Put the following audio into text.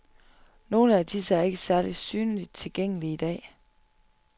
Nogle af disse er ikke synligt tilgængelige i dag.